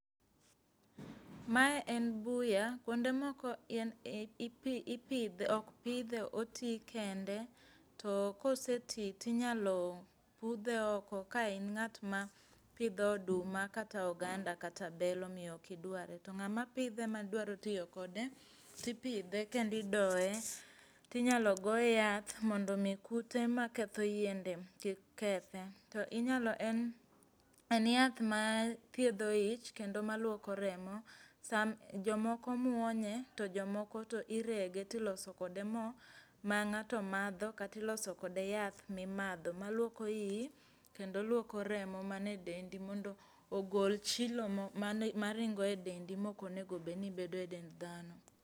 Mae en buya. Kuonde moko okpidhe otii kende to kosetii tinyalo pudhe oko ka in ng'at mapidho oduma, kata oganda, kata bel omiyo okidware. To ng'ama pidhe madwaro tiyo kode, tipidhe, kendo idoe tinyalo goe yath mondo mii kute maketho yiende kik kethe. To inyalo, en yath ma thiedho ich kendo maluoko remo. Jomoko muonye to jomoko to irege toloso kode moo ma ng'ato madho kata iloso kode yath mimadho maluoko ii kendo luoko remo mane dendi mondo ogol chilo maringo e dendi mokonego beni bedo e dend dhano.